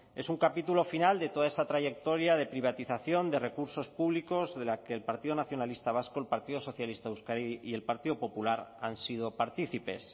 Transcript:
es un capítulo final de toda esa trayectoria de privatización de recursos públicos de la que el partido nacionalista vasco el partido socialista de euskadi y el partido popular han sido partícipes